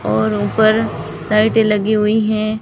और ऊपर लाइटें लगी हुई हैं।